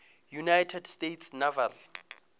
united states naval